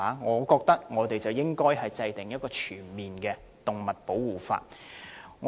我們認為當局應制訂全面的動物保護法。